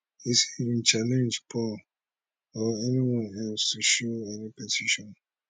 e say im challenge paul or anyone else to show any petition